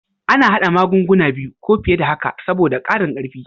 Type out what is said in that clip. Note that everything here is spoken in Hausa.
A na hada magunguna biyu ko fiye da haka saboda ƙarin karfi